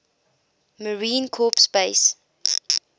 marine corps base